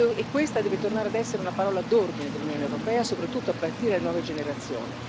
E questa deve tornare ad essere una parola d'ordine dell'Unione europea, soprattutto a partire dalle nuove generazioni.